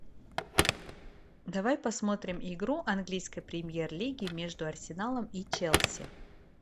давай посмотрим игру английской премьер лиги между арсеналом и челси